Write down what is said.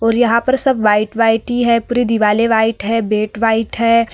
और यहाँ पर सब वाइट वाइट ही है। पूरी दिवालें वाइट हैं। बेड वाइट है।